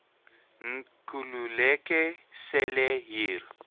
nkululeko cele hier